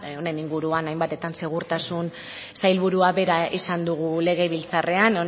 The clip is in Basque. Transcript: honen inguruan hainbatetan segurtasun sailburuak bera izan dugu legebiltzarrean